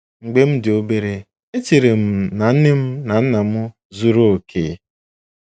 “ Mgbe m dị obere, echere m na nne m na nna m zuru okè.